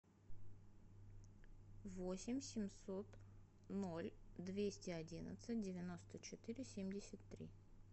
восемь семьсот ноль двести одиннадцать девяносто четыре семьдесят три